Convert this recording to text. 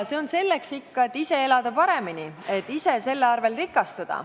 See on ikka selleks, et ise elada paremini, et ise selle abil rikastuda.